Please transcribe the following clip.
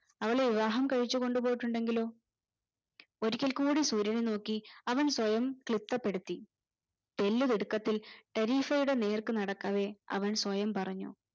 അവളെ വിവാഹം കഴിച്ചു കൊണ്ട് പോയിട്ടുണ്ടെങ്കിലോ ഒരിക്കൽ കൂടി സൂര്യനെ നോക്കി അവൻ സ്വയം ത്രിപ്തപ്പെടുത്തി തെല്ലു തിടുക്കത്തിൽ ടെ നേർക്ക് നടക്കവേ അവൻ സ്വയം പറഞ്ഞു